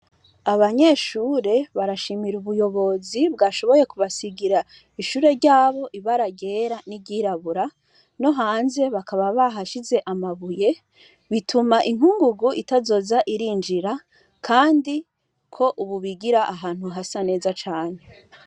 Abanyeshure bashimira ubuyobozi bwashoboye kubasigira ishure ryabo ibara ryera n’iryirabura, no hanze bakaba bahashize amabuye, bituma inkugugu itazoza irinjira kandi ko ubu bigira ahantu hasa neza cane.